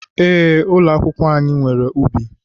Ee, ụlọ akwụkwọ anyị nwere ubi.